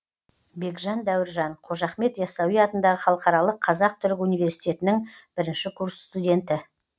бекжан дәуіржан қожа ахмет ясауи атындағы халықаралық қазақ түрік университетінің бірінші курс студенті